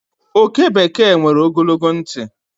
oke bekee nwere ogologo ntị